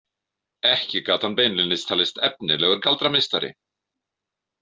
Ekki gat hann beinlínis talist efnilegur galdrameistari.